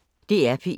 DR P1